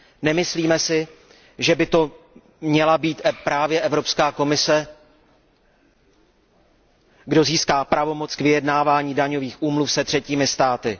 Nemyslíme si, že by to měla být právě Evropská komise, kdo získá pravomoc k vyjednávání daňových úmluv se třetími státy.